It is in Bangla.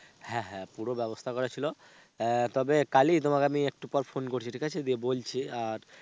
হ্যাঁ হ্যাঁ পুরো ব্যবস্থা করা ছিল. আহ তবে কালী তোমাকে আমি একটু পর phone করছি, ঠিক আছে দিয়ে বলছি. আর,